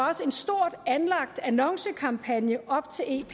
også en stort anlagt annoncekampagne op til ep